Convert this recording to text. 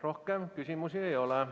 Rohkem küsimusi ei ole.